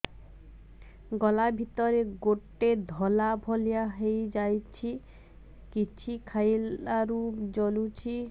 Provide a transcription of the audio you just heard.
ଗଳା ଭିତରେ ଗୋଟେ ଧଳା ଭଳିଆ ହେଇ ଯାଇଛି କିଛି ଖାଇଲାରୁ ଜଳୁଛି